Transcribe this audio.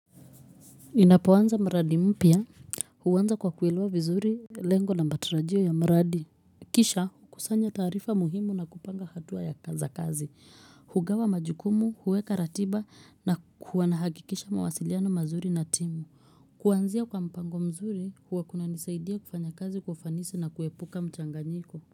Ninapoanza mradi mpya huanza kwa kuelewa vizuri lengo na mbatarajio ya mradi kisha kusanya taarifa muhimu na kupanga hatua za kazi hugawa majukumu huweka ratiba na kuwa nahakikisha mawasiliano mazuri na timu kuanzia kwa mpango mzuri huwa kunanisaidia kufanya kazi kwa ufanisi na kuepuka mchanganyiko.